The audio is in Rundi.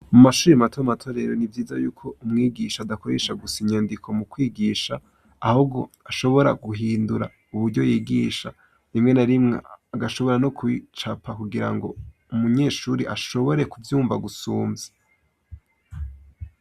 Mu mashure matomato rero ni vyiza yuko umwigisha adakoresha gusa inyandiko mu kwigisha, ahubwo ashobora guhindura uburyo yigisha; rimwe na rimwe agashobora no kupicapa kugira ngo umunyeshuri ashobore kuvyumva gusumvya